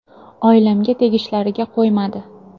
Oilamga tegishlariga qo‘ymadi.